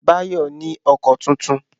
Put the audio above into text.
Báyọ̀ ní ọkọ tuntun